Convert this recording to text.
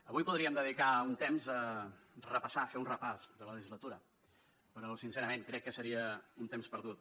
avui podríem dedicar un temps a repassar a fer un repàs de la legislatura però sincerament crec que seria un temps perdut